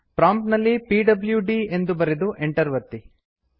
prompt ನಲ್ಲಿ PWD ಎಂದು ಬರೆದು ಎಂಟರ್ ಒತ್ತಿ